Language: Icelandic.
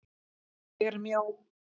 ÉG ER MJÓ.